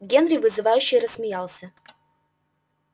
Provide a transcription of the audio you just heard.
генри вызывающе рассмеялся